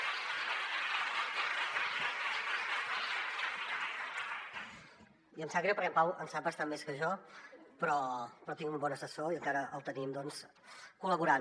i em sap greu perquè en pau en sap bastant més que jo però tinc un bon assessor i encara el tenim col·laborant